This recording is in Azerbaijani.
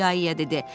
ia-ia dedi.